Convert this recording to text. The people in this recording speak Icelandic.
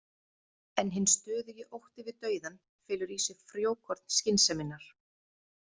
En hinn stöðugi ótti við dauðann felur í sér frjókorn skynseminnar.